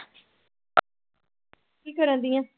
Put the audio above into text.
ਕੀ ਕਰਦੀ ਆਂ?